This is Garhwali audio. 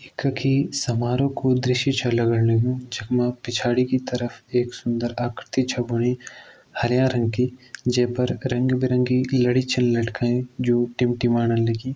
कखि समारोह कु दृश्य छ लगण लग्यूं जखमा पिछाड़ी की तरफ एक सुंदर आकृति छ बणी हर्यां रंग की जे पर रंगबिरंगी लड़ी छन लटकायीं जो टिमटिमाण लगीं।